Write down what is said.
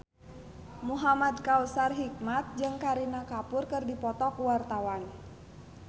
Muhamad Kautsar Hikmat jeung Kareena Kapoor keur dipoto ku wartawan